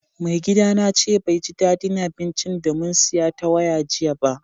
Mai gida na ce bai ji daddin abincin da mun siya ta waya jiya ba.